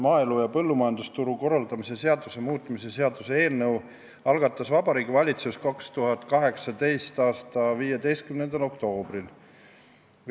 Maaelu ja põllumajandusturu korraldamise seaduse muutmise seaduse eelnõu algatas Vabariigi Valitsus 2018. aasta 15. oktoobril.